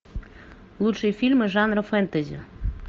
лучшие фильмы жанра фэнтези